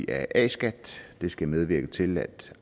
af a skat det skal medvirke til at